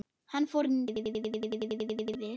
Hann fór sínar eigin leiðir.